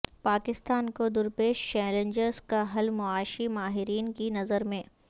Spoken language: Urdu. پاکستان کو درپیش چیلنجز کا حل معاشی ماہرین کی نظر میں